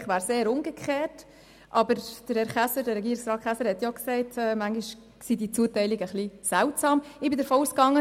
Eigentlich wäre es eher umgekehrt, aber Regierungsrat Käser hat ja auch gesagt, die Zuteilungen seien manchmal ein bisschen seltsam.